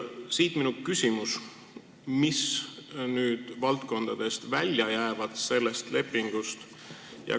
Siit minu küsimus: millised valdkonnad sellest lepingust välja jäävad?